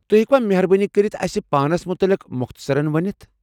تُہۍ ہیكوا مہربٲنی كرِتھ اسہِ پانس متعلق مۄختصرن ونِتھ ؟